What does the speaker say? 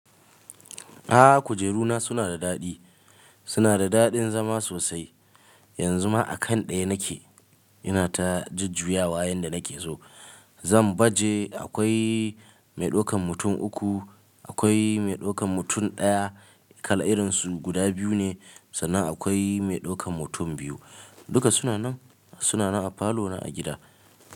Aaa kujeru na suna da daɗi. Suna da daɗin zama sosai. Yanzu ma a kan ɗaya nake, ina ta jujjuyawa yanda nake so. Zan baje akwai mai ɗaukan mutum uku, akwai mai ɗaukan mutum ɗaya, kala irinsu guda biyu ne sannan akwai mai ɗaukan mutum biyu. Duka suna nan, suna nan a falo na a gida.